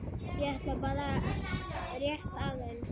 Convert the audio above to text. ég ætlaði bara rétt aðeins.